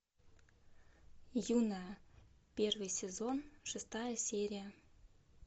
юная первый сезон шестая серия